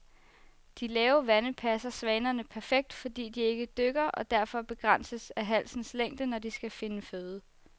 De lave vande passer svanerne perfekt, fordi de ikke dykker og derfor begrænses af halsens længde, når de skal finde føde.